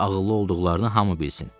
necə ağıllı olduqlarını hamı bilsin.